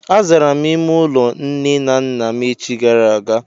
Azara m ime ụlọ nne na nna m echi gara aga.